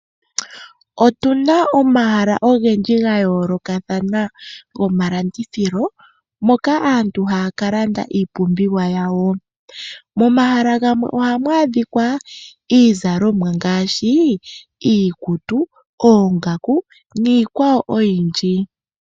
Otu na omahala ogendji gayoolokathana gomalandithilo, moka aantu haya kalanda iipumbiwa yawo . Momahala gamwe ohamu adhikwa iizalomwa ngaashi iikutu, oongaku niikwawo oyindji.